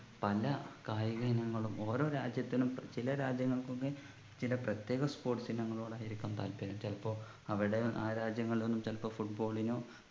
പല കായക ഇനങ്ങളും ഓരോ രാജ്യത്തിനും ചില രാജ്യങ്ങൾക്ക് ഒക്കെ ചില പ്രത്യേക sports ഇനങ്ങളോടായിരിക്കും താല്പര്യം ചിലപ്പോ അവിടെ ആ രാജ്യങ്ങളിലൊന്നും ചിലപ്പോ football നോ